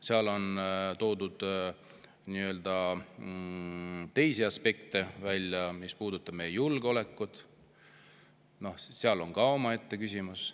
Seal on toodud välja teisi aspekte, mis puudutavad meie julgeolekut, see on ka omaette küsimus.